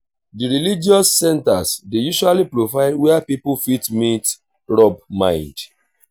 di religious centers dey usually provide where pipo fit meet rub mind